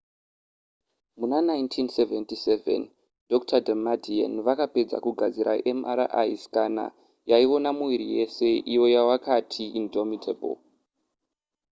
muna 1977 dr damadian vakapedza kugadzira mri scanner yaiona muviri wese iyo yavakati indomitable